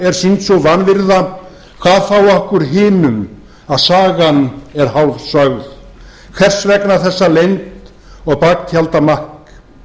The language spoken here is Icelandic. er sýnd sú vanvirða hvað þá okkur hinum að sagan er hálfsögð hvers vegna þessa leynd og baktjaldamakk